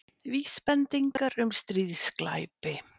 Vísbendingar um stríðsglæpi